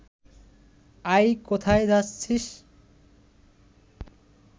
অ্যাই কোথায় যাচ্ছিস